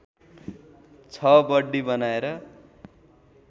छ बर्डी बनाएर